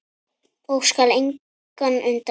og skal engan undra.